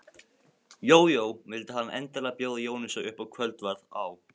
Jójó, vildi hann endilega bjóða Jónasi upp á kvöldverð á